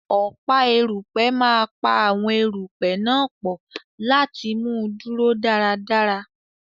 Ọ̀pá erùpẹ̀ máa pa àwọn erùpẹ̀ náà pọ̀ láti mú un dúró dáradára.